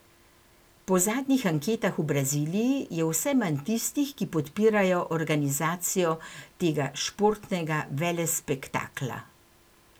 Po zadnjih anketah v Braziliji je vse manj tistih, ki podpirajo organizacijo tega športnega velespektakla.